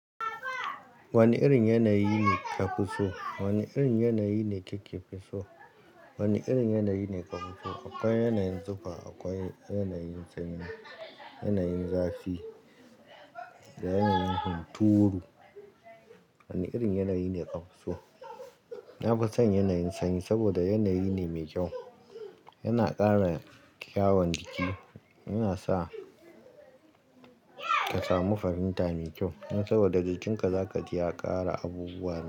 Wani irin yanayi ne ka pi so? Wani irin yanayi ne ki ke pi so? Wane irin yanayi ne ka fi so? Akwai yanayin tsufa, akwai yanayin sanyi, yanayin zafi da yanayin hunturu. Wane irin yanayi ne ka fi so? Na fi son yanayin sanyi saboda yanayi ne mai kyau. Yana ƙara kyawun jiki, yana sa ka samu farinta mai kyau. Nan saboda jikinka za ka ji ya ƙara abubuwa.